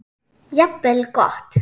Jafnvel gott.